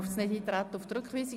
Der AFP wird zurückgewiesen.